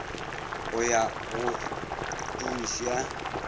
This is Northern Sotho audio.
go ya go h ya